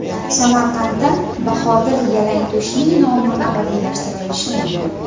Samarqandda Bahodir Yalangto‘shning nomi abadiylashtirilishi mumkin.